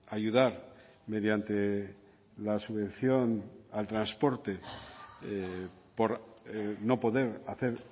ayudar mediante la subvención al transporte por no poder hacer